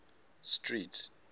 street